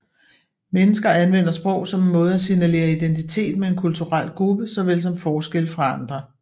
Mennesker anvender sprog som en måde at signalere identitet med en kulturel gruppe såvel som forskelle fra andre